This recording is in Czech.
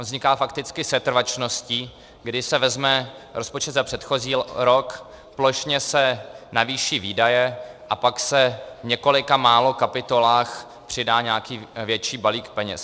On vzniká fakticky setrvačností, kdy se vezme rozpočet za předchozí rok, plošně se navýší výdaje a pak se v několika málo kapitolách přidá nějaký větší balík peněz.